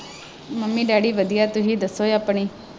Mummy daddy ਵਧੀਆ ਤੁਸੀਂ ਦੱਸੋਂ ਆਪਣੀ।